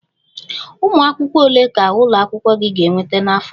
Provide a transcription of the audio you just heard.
Ụmụ akwụkwọ ole ka ụlọ akwụkwọ gị ga-ekweta n'afọ a?